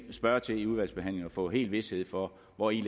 spørge til i udvalgsbehandlingen få helt vished for hvori